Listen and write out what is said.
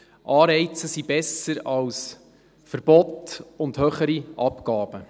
Anreize sind besser als Verbote und höhere Abgaben.